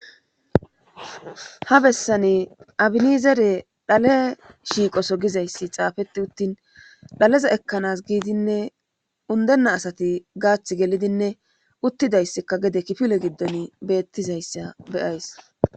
Ha bessani abini zere dhale shiiqoso gizayssi xaafetti uttin dhaleza ekkanas giidinne undenna asati gaath gelidinne uttidayssikka gede kifile giddon beettizayssa beyays.